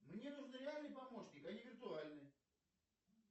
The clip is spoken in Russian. мне нужен реальный помощник а не виртуальный